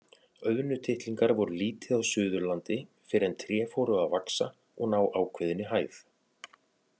Auðnutittlingar voru lítið á Suðurlandi fyrr en tré fóru að vaxa og ná ákveðinni hæð.